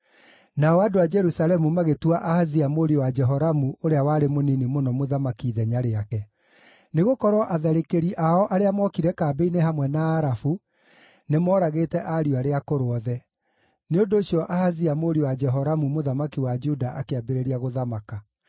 Nao andũ a Jerusalemu magĩtua Ahazia mũriũ wa Jehoramu ũrĩa warĩ mũnini mũno mũthamaki ithenya rĩake, nĩgũkorwo atharĩkĩri ao arĩa mookire kambĩ-inĩ hamwe na Arabu, nĩmooragĩte ariũ arĩa akũrũ othe. Nĩ ũndũ ũcio Ahazia mũriũ wa Jehoramu mũthamaki wa Juda akĩambĩrĩria gũthamaka.